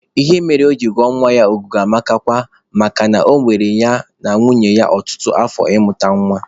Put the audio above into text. Ihe mere o jiri gụọ nwa ya Ọgụguamakwa makana ọ were ya na nwunye ya ọtụtụ afọ ịmụta nwa.